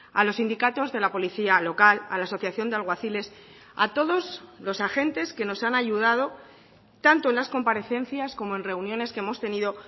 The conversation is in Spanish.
a los sindicatos de la policía local a la asociación de alguaciles a todos los agentes que nos han ayudado tanto en las comparecencias como en reuniones que hemos tenido